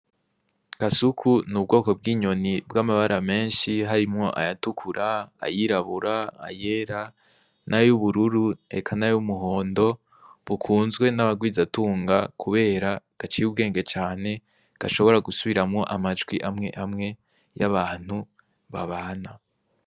Gasuku ni ubwoko bw'inyoni bw'amabara menshi harimwo ayatukura ayirabura ayera na yo ubururu eka na yo umuhondo bukunzwe n'abagwizatunga, kubera gaciy' ubwenge cane gashobora gusubiramwo amajwi amwe amwe y'abantu babana.